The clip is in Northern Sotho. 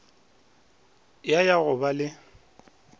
ya ya go ba le